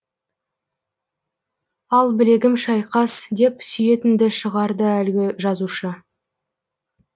ал білегім шайқас деп сүйетінді шығарды әлгі жазушы